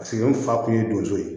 Paseke n fa kun ye donso ye